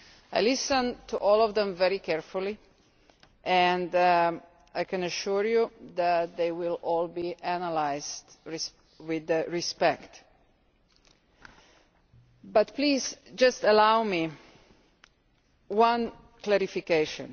I listened to all of them very carefully, and I can assure you that they will all be analysed with respect. But please just allow me one clarification.